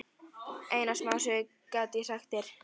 Eina smásögu get ég sagt þér.